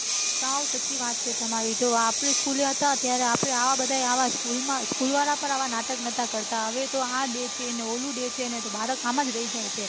સાવ સાચી વાત છે તમારી જો આપડે school એ હતા ત્યારે આપડે આવા બઘા school વાળા પન નાટક નાતા કરતા હવે તો આ day છે ને ઓલું day છે તો ભારત આમજ રહી જાય છે